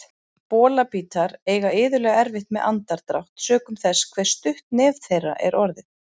Bolabítar eiga iðulega erfitt með andardrátt sökum þess hve stutt nef þeirra er orðið.